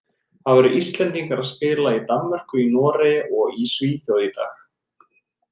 Það voru Íslendingar að spila í Danmörku, í Noregi og í Svíþjóð í dag.